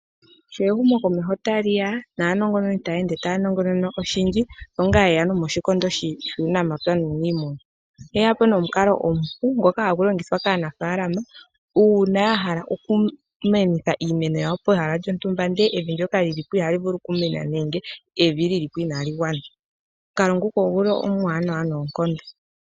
Sho ehumo komeho taliya naanongononi tanongonona oshindji osho nga yeyapo nomoshikondo shuunamapya nuunimuna, oteyapo nomukalo omupu ngoka hangulongithwa kaanafalama una yahala okumenitha iimeno yawo pehala lyontumba ndele evi lyoka lilipo ihalivulu okumena nande evi lilipo inalingwana omunkalo ngoka onguli omwanawa nonkondo.